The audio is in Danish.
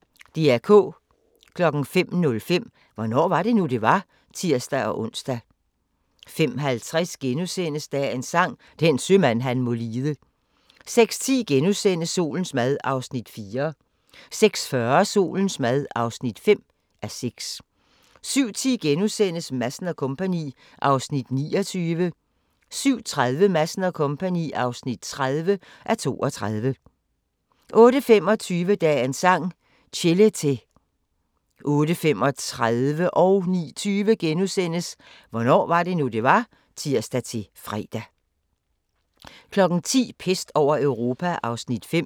05:05: Hvornår var det nu, det var? (tir-ons) 05:50: Dagens Sang: Den sømand han må lide * 06:10: Solens mad (4:6)* 06:40: Solens mad (5:6) 07:10: Madsen & Co. (29:32)* 07:30: Madsen & Co. (30:32) 08:25: Dagens Sang: Chelete 08:35: Hvornår var det nu, det var? *(tir-fre) 09:20: Hvornår var det nu, det var? *(tir-fre) 10:00: Pest over Europa (5:6)